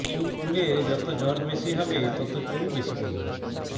চুলে যত জট বেশি হবে তত চুল বেশি পড়বে